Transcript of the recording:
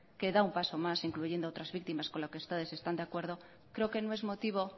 queda un paso más incluyendo a otras víctimas con las que ustedes están de acuerdo creo que no es motivo